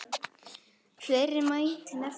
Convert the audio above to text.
Fleira mætti nefna.